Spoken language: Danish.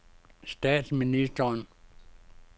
statsministeren